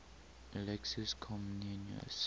alexius comnenus